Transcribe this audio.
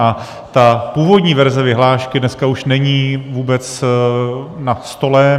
A ta původní verze vyhlášky dneska už není vůbec na stole.